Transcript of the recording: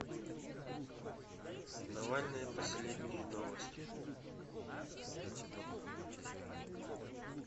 навальный последние новости